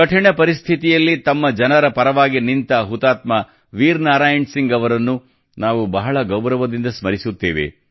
ಕಠಿಣ ಪರಿಸ್ಥಿತಿಯಲ್ಲಿ ತಮ್ಮ ಜನರ ಪರವಾಗಿ ನಿಂತ ಹುತಾತ್ಮ ವೀರ ನಾರಾಯಣ್ ಸಿಂಗ್ ಅವರನ್ನು ನಾವು ಬಹಳ ಗೌರವದಿಂದ ಸ್ಮರಿಸುತ್ತೇವೆ